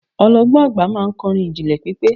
ọlọgbọn agba ma n kọrin ijinlẹ pipẹ